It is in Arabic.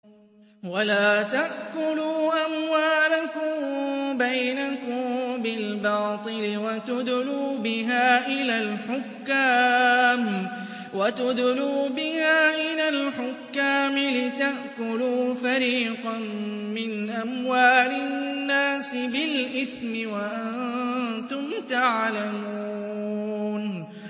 وَلَا تَأْكُلُوا أَمْوَالَكُم بَيْنَكُم بِالْبَاطِلِ وَتُدْلُوا بِهَا إِلَى الْحُكَّامِ لِتَأْكُلُوا فَرِيقًا مِّنْ أَمْوَالِ النَّاسِ بِالْإِثْمِ وَأَنتُمْ تَعْلَمُونَ